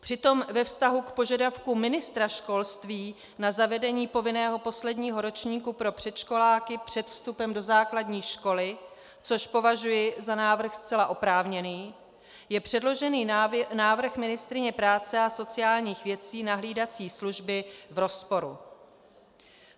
Přitom ve vztahu k požadavku ministra školství na zavedení povinného posledního ročníku pro předškoláky před vstupem do základní školy, což považuji za návrh zcela oprávněný, je předložený návrh ministryně práce a sociálních věcí na hlídací služby v rozporu.